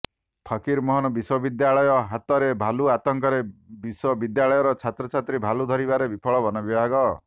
ଫକିର ମୋହନ ବିଶ୍ବବିଦ୍ୟାଳୟ ହତାରେ ଭାଲୁ ଆତଙ୍କରେ ବିଶ୍ୱବିଦ୍ୟାଳୟର ଛାତ୍ରଛାତ୍ରୀ ଭାଲୁ ଧରିବାରେ ବିଫଳ ବନବିଭାଗ